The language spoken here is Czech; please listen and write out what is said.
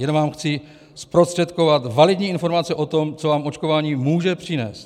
Jenom vám chci zprostředkovat validní informace o tom, co vám očkování může přinést."